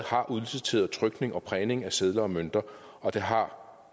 udliciteret trykning og prægning af sedler og mønter og der har